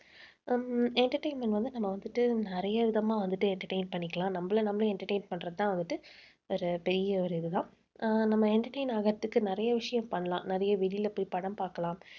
உம் entertainment வந்து நம்ம வந்துட்டு நிறைய விதமா வந்துட்டு entertain பண்ணிக்கலாம். நம்மளை நம்மளே entertain பண்றதுதான் வந்துட்டு ஒரு பெரிய ஒரு இதுதான். அஹ் நம்ம entertain ஆகுறதுக்கு, நிறைய விஷயம் பண்ணலாம். நிறைய வெளியிலே போய் படம் பார்க்கலாம்